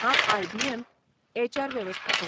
हांव आय.बी.एम. त एच.आर. वेवस्थापक.